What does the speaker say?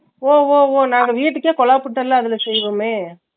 ஒவ் ஒவ் ஒவ் நான் வீட்டுக்கே குழபுட்டு எல்லா நல்லா செய்வேன்னே